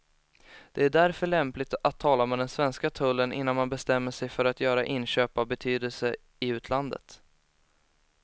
Det är därför lämpligt att tala med den svenska tullen innan man bestämmer sig för att göra inköp av betydelse i utlandet.